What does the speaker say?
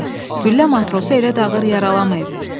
güllə matrosu elə ağır yaralamayıb.